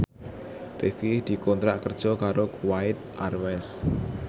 Rifqi dikontrak kerja karo Kuwait Airways